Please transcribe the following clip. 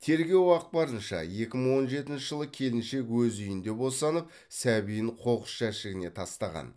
тергеу ақпарынша екі мың он жетінші жылы келіншек өз үйінде босанып сәбиін қоқыс жәшігіне тастаған